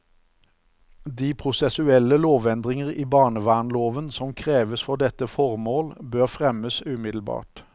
De prosessuelle lovendringer i barnevernloven som kreves for dette formål, bør fremmes umiddelbart.